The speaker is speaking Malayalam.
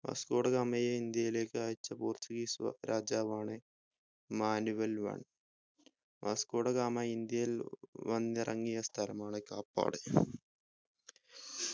വാസ്‌കോ ഡ ഗാമയെ ഇന്ത്യയിലേക് അയച്ച portuguese വ രാജാവാണ് Manuel one Vasco da Gama ഇന്ത്യയിൽ വന്ന് ഇറങ്ങിയ സ്ഥലമാണ് കാപ്പാട്